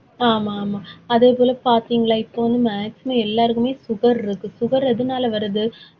ஆமா, ஆமா அதே போல பாத்தீங்களா இப்ப வந்து maximum எல்லாருக்குமே sugar இருக்கு sugar எதுனால வருது?